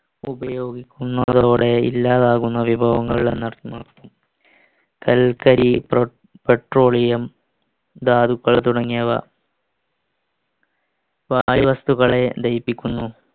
ഉപയോഗിക്കുന്നതോടെ ഇല്ലാതാകുന്ന വിഭവങ്ങൾ എന്നർത്ഥം കൽക്കരി petroleum ധാതുക്കൾ തുടങ്ങിയവ വായു വസ്തുക്കളെ ലയിപ്പിക്കുന്നു